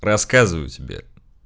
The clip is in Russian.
рассказываю тебе